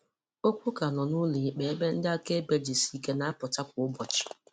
Okwu ka nọ nụlọikpe ebe ndị akaebe jisike na-apụta kwa ụbọchị